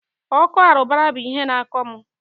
ọkọ arụbara bụ ihe na-akọ mụ.